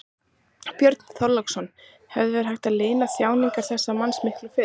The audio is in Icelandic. Björn Þorláksson: Hefði verið hægt að lina þjáningar þessa manns miklu fyrr?